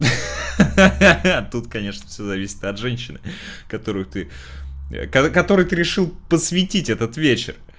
ха ха ха тут конечно всё зависит от женщины которую ты когда который ты решил посвятить этот вечер